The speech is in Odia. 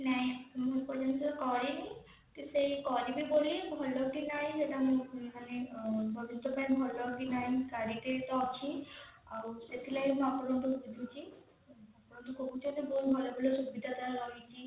ନାଇଁ ମୁଁ ଏପର୍ଯ୍ୟନ୍ତ କରିନି କି ସେଇ କରିବି ବୋଲି ଭଲ କି ନାଇ ସେଇଟା ମୁଁ ମାନେ ଭବିଷ୍ୟତ ପାଇଁ ଭଲ କି ନାଇଁ ଗାଡିଟିଏ ତ ଅଛି ଆଉ ସେଥିଲାଗି ଆପଣଙ୍କୁ ଠୁ ବୁଝୁଛି ଆପଣ ଯଦି କହୁଛନ୍ତି ବହୁତ ବହୁତ ସୁବିଧା ସବୁ ରହିଛି